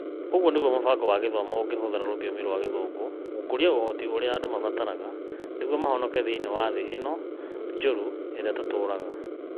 Ũguo nĩguo mũbango wa gĩthomo ũngĩhũthĩra rũthiomi rwa Gĩthũngũ gũkũria ũhoti ũrĩa andũ mabataraga nĩguo mahonoke thĩinĩ wa thĩ ĩno njũru ĩrĩa tũratũũra.